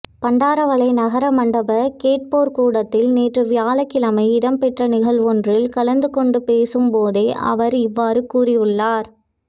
பண்டாரவளை நகர மண்டப கேட்போர்கூடத்தில் நேற்று வியாழக்கிழமை இடம்பெற்ற நிகழ்வொன்றில் கலந்து கொண்டு பேசும் போதே அவர் இவ்வாறு கூறியுள்ளார்